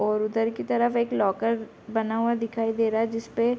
और उधर की तरफ एक लॉकर बना हुआ दिखाई दे रहा है जिसपे --